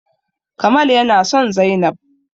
Kamal yana son zainab